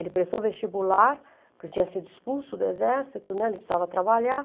Ele prestou vestibular, porque tinha sido expulso do exército, né, ele precisava trabalhar.